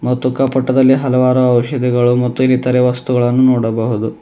ಮತ್ತು ಕಪಟದಲ್ಲಿ ಹಲವಾರು ಔಷಧಿಗಳು ಮತ್ತು ಇನ್ನಿತರೆ ವಸ್ತುಗಳನ್ನು ನೋಡಬಹುದು.